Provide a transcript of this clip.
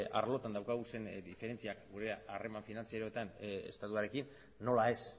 arlotan dauzkagun diferentziak gure harreman finantzarioetan estatuarekin nola ez